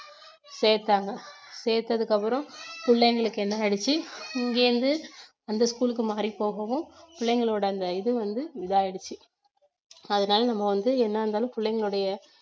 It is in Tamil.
சேத்தாங்க சேத்ததுக்கு அப்புறம் பிள்ளைங்களுக்கு என்ன ஆயிடுச்சு இங்கிருந்து அந்த school க்கு மாறி போகவும் பிள்ளைகளோட அந்த இது வந்து இது ஆயிடுச்சு அதனால நம்ம வந்து என்ன இருந்தாலும் பிள்ளைங்களுடைய